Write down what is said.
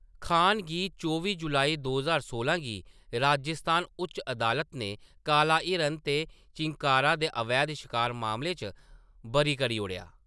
खान गी चौबी जुलाई दो ज्हार सोलां गी राजस्थान उच्च अदालत ने काला हिरन ते चिंकारा दे अवैध शकार मामलें च बरी करी ओड़ेआ।